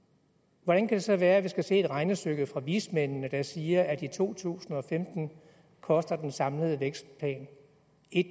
hvordan kan det så være at vi skal se et regnestykke fra vismændene der siger at i to tusind og femten koster den samlede vækstplan